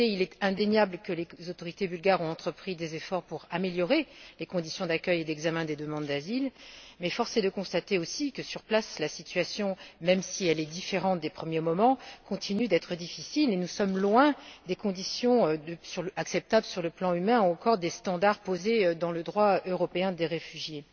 D'un côté, il est indéniable que les autorités bulgares ont entrepris des efforts pour améliorer les conditions d'accueil et d'examen des demandes d'asile, mais force est de constater aussi que, sur place, la situation, même si elle est différente des premiers moments, continue d'être difficile et nous sommes loin des conditions acceptables sur le plan humain ou encore des normes prévues dans le droit européen des réfugiés.